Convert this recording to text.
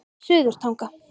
Suðurtanga